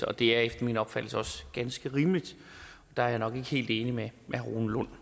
og det er efter min opfattelse også ganske rimeligt der er jeg nok ikke helt enig med herre rune lund